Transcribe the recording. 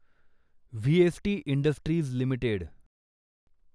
VST industries limited